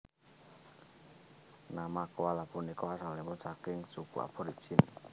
Nama koala punika asalipun saking suku Aborigin